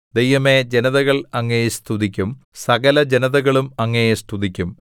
ദൈവമേ ജനതകൾ അങ്ങയെ സ്തുതിക്കും സകലജനതകളും അങ്ങയെ സ്തുതിക്കും